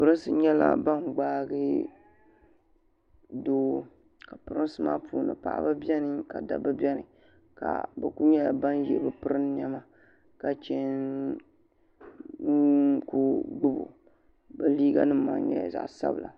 Pirinsi nyɛla bani gbaagi doo ka prinsi maa puuni paɣaba bɛni ka dabba bɛni ka bi kuli nyɛla bani ye bi prin niɛma ka chɛ nkuli gbubi o bi liiga nima maa nyɛla zaɣi sabila.